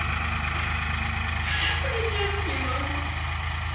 ха-ха блять ору не могу